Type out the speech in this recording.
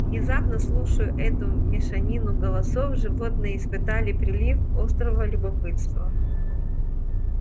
внезапно слушая эту мешанину голосов животные испытали прилив острого любопытства